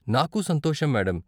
నాకూ సంతోషం, మేడం.